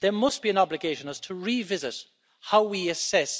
there must be an obligation on us to revisit how we assess